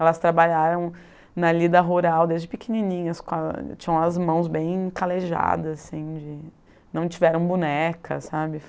Elas trabalharam na lida rural desde pequenininhas, tinham as mãos bem calejadas, assim de, não tiveram boneca, sabe?